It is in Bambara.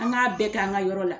An ka bɛɛ kɛ an ka yɔrɔ la.